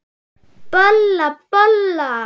Bolla, bolla!